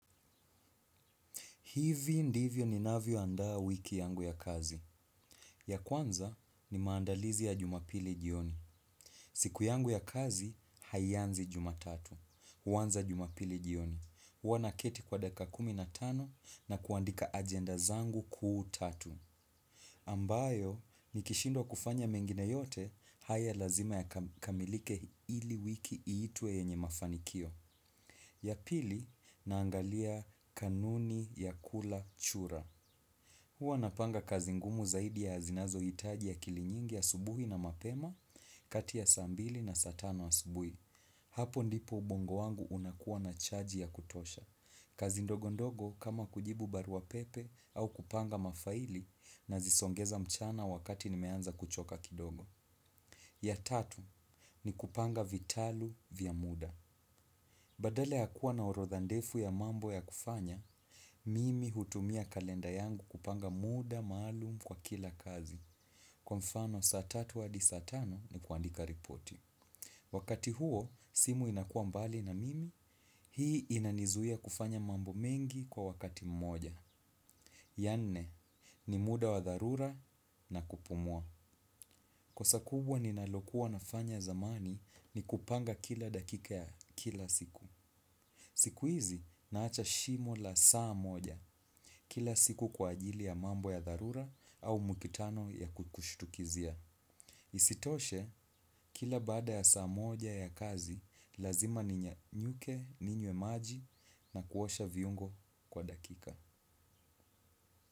Hivi ndivyo ninavyo andaa wiki yangu ya kazi. Ya kwanza ni maandalizi ya jumapili jioni. Siku yangu ya kazi, haianzi jumatatu. Huanza jumapili jioni. Hua naketi kwa dakika kumi na tano na kuandika ajenda zangu kuu tatu. Ambayo, nikishindwa kufanya mengine yote, haya lazima ya kamilike ili wiki iitwe yenye mafanikio. Ya pili, naangalia kanuni ya kula chura. Huwa napanga kazi ngumu zaidi ya zinazo hitaji ya akili nyingi asubuhi na mapema, kati ya saa mbili na saa tano asubuhi. Hapo ndipo ubongo wangu unakuwa na chaji ya kutosha. Kazi ndogo ndogo kama kujibu barua pepe au kupanga mafaili nazisongeza mchana wakati ni meanza kuchoka kidogo. Ya tatu ni kupanga vitalu vya muda. Badala ya kuwa na urodha ndefu ya mambo ya kufanya, mimi hutumia kalenda yangu kupanga muda maalum kwa kila kazi. Kwa mfano saa tatu hadi saa tano ni kuandika ripoti. Wakati huo, simu inakua mbali na mimi, hii inanizuia kufanya mambo mengi kwa wakati mmoja. Ya nne, ni muda wa dharura na kupumua. Kosa kubwa ninalokuwa nafanya zamani ni kupanga kila dakika ya kila siku. Siku hizi naacha shimo la saa moja kila siku kwa ajili ya mambo ya darura au mu kitano ya kukushutukizia. Isitoshe kila bada ya saa moja ya kazi lazima ninyanyuke ninywe maji na kuosha viungo kwa dakika.